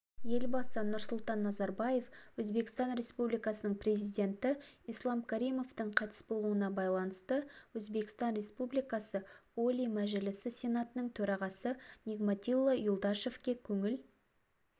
елбасы нұрсұлтан назарбаев өзбекстан республикасының президенті ислам каримовтің қайтыс болуына байланысты өзбекстан республикасы олий мәжілісі сенатының төрағасы нигматилла юлдашевке көңіл